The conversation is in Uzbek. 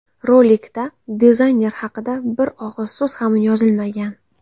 Rolikda dizayner haqida bir og‘iz so‘z ham yozilmagan.